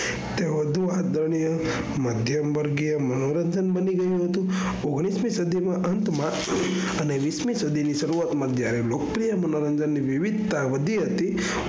તે વધુ આદરણીય મધ્યમ વર્ગીય મનોરંજન બની ગયું હતું. ઓગણીસ મી સદી ના અંત માં અને વીસમી સદી ના શરૂઆત માં જ્યારે લોકપ્રિય મનોરંજન ની વિવિધતા વધી હતી